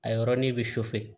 A yɔrɔnin bɛ